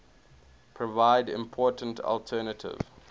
provide important alternative